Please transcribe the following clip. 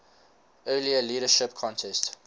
earlier leadership contest